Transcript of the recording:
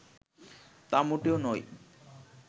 তা মোটেও নয়